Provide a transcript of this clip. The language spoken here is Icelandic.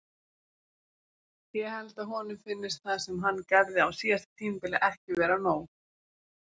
Ég held að honum finnist það sem hann gerði á síðasta tímabili ekki vera nóg.